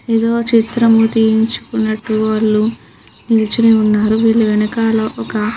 ఎదో చిత్రం తీయించుకున్నట్టు వాళ్ళు నిల్చుని ఉన్నారు వీళ్ళ వెనకాల ఒక --